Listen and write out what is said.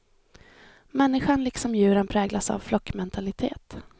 Människan liksom djuren präglas av flockmentalitet.